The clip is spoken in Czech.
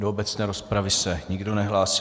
Do obecné rozpravy se nikdo nehlásí.